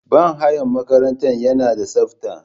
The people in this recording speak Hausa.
Banhayan makaranta yanada tsafta.